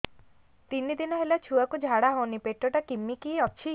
ତିନି ଦିନ ହେଲା ଛୁଆକୁ ଝାଡ଼ା ହଉନି ପେଟ ଟା କିମି କି ଅଛି